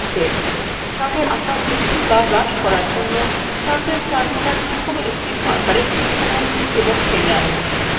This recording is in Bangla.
chart এর আকার বৃদ্ধি to হ্রাস করার জন্য chartএর chart কোনার যেকোনো একটির markersএ click করুন এবং টেনে আনুন